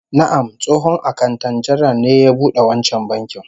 Na'am, tsohon akanta janar ne ya bude wancan bankin